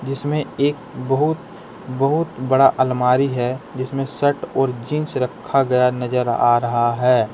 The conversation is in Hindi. इसमें एक बहुत बहुत बड़ा अलमारी है जिसमें शर्ट और जींस रखा गया नजर आ रहा है।